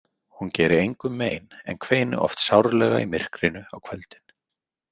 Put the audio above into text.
Hún geri engum mein en kveini oft sárlega í myrkrinu á kvöldin.